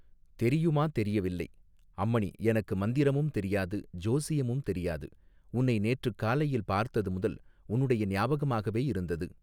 தெரியுமா தெரியவில்லை அம்மணி எனக்கு மந்திரமும் தெரியாது ஜோசியமும் தெரியாது உன்னை நேற்றுக் காலையில் பார்த்தது முதல் உன்னுடைய ஞாபகமாகவே இருந்தது.